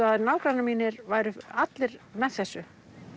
að nágrannar mínir væru allir með þessu